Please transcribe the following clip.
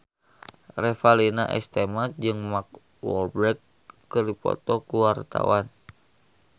Revalina S. Temat jeung Mark Walberg keur dipoto ku wartawan